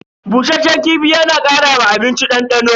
Bushasshen kifi yana kara wa abinci dandano.